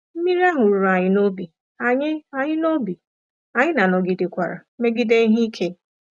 Mmiri ahụ ruru anyị n’obi, anyị anyị n’obi, anyị na nọgidekwara megide ihe ike.